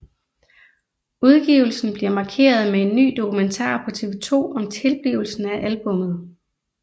Udgivelsen bliver markeret med en ny dokumentar på TV2 om tilblivelsen af albummet